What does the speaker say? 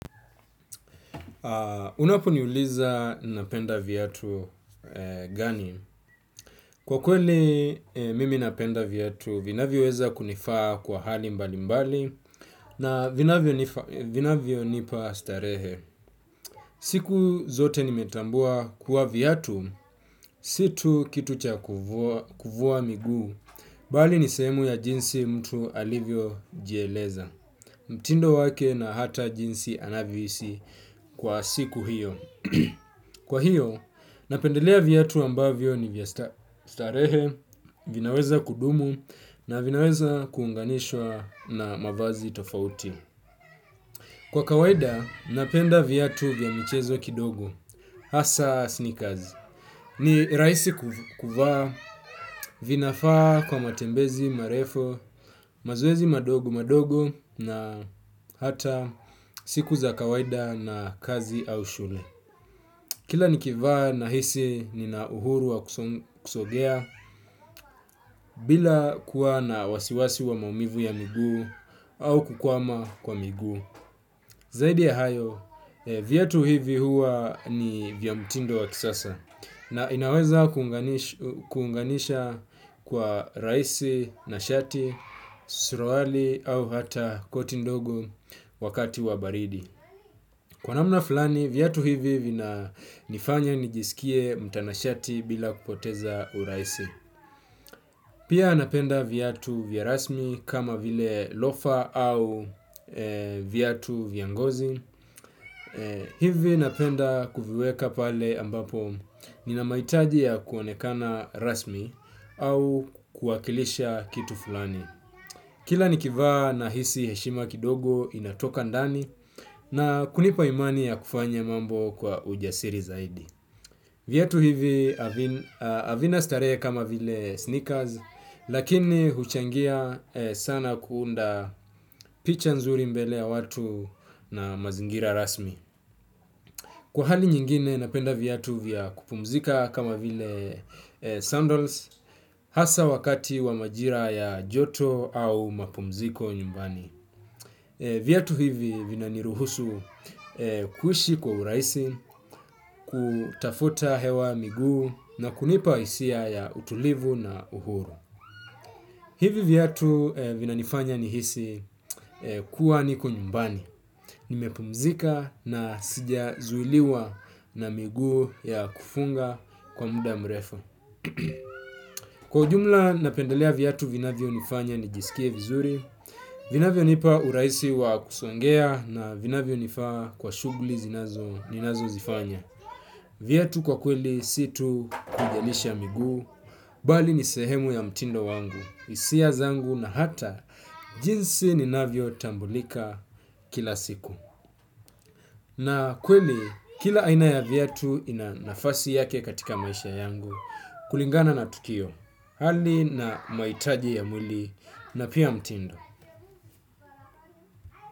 Unapo niuliza napenda viatu gani? Kwa kweli mimi napenda viatu, vinavyo weza kunifaa kwa hali mbali mbali na vinavyo nipa starehe. Siku zote nimetambuwa kuwa viatu, si tu kitu cha kuvuwa miguu, bali nisehemu ya jinsi mtu alivyo jieleza. Mtindo wake na hata jinsi anavyohisi kwa siku hiyo. Kwa hiyo, napendelea viatu ambavyo ni vya starehe, vinaweza kudumu na vinaweza kuunganishwa na mavazi tofauti. Kwa kawaida, napenda viatu vya michezo kidogo, hasa sneakers. Ni rahisi kuvaa, vinafaa kwa matembezi marefu, mazoezi madogo madogo na hata siku za kawaida na kazi au shule. Kila nikivaa nahisi nina uhuru wakusogea bila kuwa na wasiwasi wa maumivu ya miguu au kukwama kwa miguu. Zaidi ya hayo, viatu hivi huwa ni vya mtindo wa kisasa na inaweza kuunganisha kwa raisi na shati, suruali au hata koti ndogo wakati wa baridi. Kwa namna fulani, viatu hivi vina nifanya nijisikie mtanashati bila kupoteza uraisi. Pia napenda viatu vya rasmi kama vile lofa au viatu vya ngozi, hivi napenda kuviweka pale ambapo ninamahitaji ya kuonekana rasmi au kuwakilisha kitu fulani. Kila nikivaa nahisi heshima kidogo inatoka ndani na kunipa imani ya kufanya mambo kwa ujasiri zaidi. Viatu hivi havina starehe kama vile sneakers lakini huchangia sana kuunda picha nzuri mbele ya watu na mazingira rasmi. Kwa hali nyingine napenda viatu vya kupumzika kama vile sandals hasa wakati wa majira ya joto au mapumziko nyumbani. Viatu hivi vina niruhusu kuishi kwa urahisi kutafuta hewa miguu na kunipa hisia ya utulivu na uhuru. Hivi viatu vinanifanya nihisi kuwa niko nyumbani nimepumzika na sijazuiliwa na miguu ya kufunga kwa muda mrefu. Kwa ujumla napendelea viatu vinavyo nifanya ni jisikie vizuri. Vinavyo nipa urahisi wa kusongea na vinavyo nifaa kwa shuguli zinazo, ninazo zifanya. Viatu kwa kweli si tu kujelisha miguu, bali ni sehemu ya mtindo wangu, hisia zangu na hata jinsi ninavyo tambulika kila siku. Na kweli kila aina ya viatu ina nafasi yake katika maisha yangu kulingana na tukio. Hali na mahitaji ya mwili na pia mtindo.